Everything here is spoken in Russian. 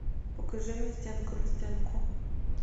покажи мне стенка на стенку